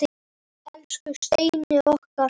Elsku Steini okkar.